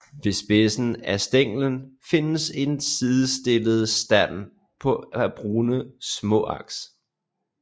Ved spidsen af stænglen findes en sidestillet stand af brune småaks